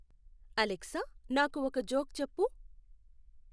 Alexa నాకు ఒక joke చెప్పు